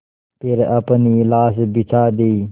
फिर अपनी लाश बिछा दी